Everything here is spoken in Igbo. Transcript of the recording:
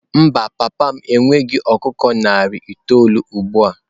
Mba, papa m enweghị ọkụkọ narị itoolu ugbu a.